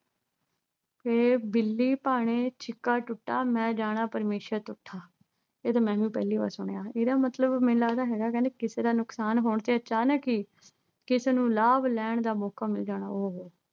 ਏਕ ਬਿੱਲੀ ਭਾਣੇ ਸ਼ਿੱਕਾ ਟੁੱਟਾ, ਮੈਂ ਜਾਣਾ ਪਰਮੇਸ਼ਵਰ ਤੁੱਠਾ। ਇਹ ਤੇ ਮੈਂ ਵੀ ਪਹਿਲੀ ਵਾਰ ਸੁਣਿਆ ਇਹਦਾ ਮਤਲਬ ਮੈਨੂੰ ਲੱਗਦਾ ਹੈਗਾ ਕਹਿੰਦੇ ਕਿਸੇ ਦਾ ਨੁਕਸਾਨ ਹੋਣ ਤੇ ਅਚਾਨਕ ਹੀ ਕਿਸੇ ਨੂੰ ਲਾਭ ਲੈਣ ਦਾ ਮੌਕਾ ਮਿਲ ਜਾਣਾ। ਉਹੋ